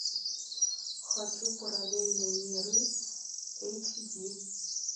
хочу параллельные миры эйч ди